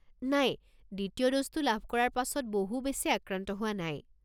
নাই, দ্বিতীয় ড'জটো লাভ কৰাৰ পাছত বহু বেছি আক্ৰান্ত হোৱা নাই।